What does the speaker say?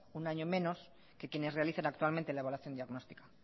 un año menos que quienes realizan actualmente la evaluación diagnóstica